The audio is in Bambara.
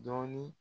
Dɔɔnin